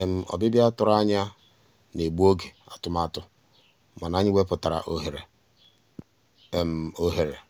ọ́bị́bịá tụ̀rụ̀ ànyá ná-ègbu ògé àtụ̀màtụ́ mànà ànyị́ wepụ́tárá òghéré. òghéré.